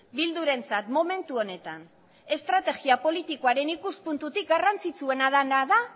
bildurentzat momentu honetan estrategia politikoaren ikuspuntutik garrantzitsuena dena da